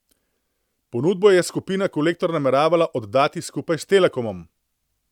Ponudbo je Skupina Kolektor nameravala oddati skupaj s Telekomom.